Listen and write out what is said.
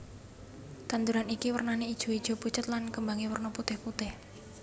Tanduran iki wernané ijoijo pucet lan kembangé werna putihPutih